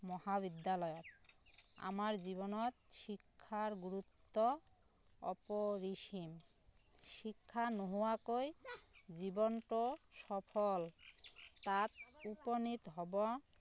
মহাবিদ্যালয় আমাৰ জীৱনত শিক্ষাৰ গুৰুত্ব অপৰিসীম শিক্ষা নোহোৱাকৈ জীৱনটো সফল তাত উপনিত হব